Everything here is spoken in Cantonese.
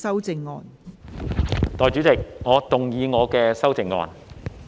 代理主席，我動議我的修正案。